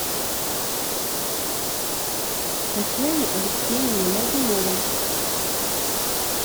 татьяне алексеевне моргуновой